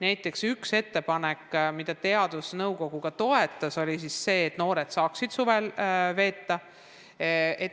Näiteks üks ettepanek, mida teadusnõukogu ka toetas, oli see, et noored saaksid suve koos veeta.